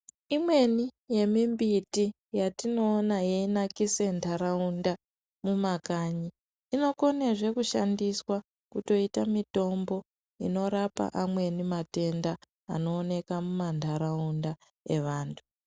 Imweni yemimbiti yetinoona yeinakisa nharaunda mumakanyi, inokonazve kushandiswa kutoita mitombo inorapa amweni matenda anooneka muma nharaunda evanhu.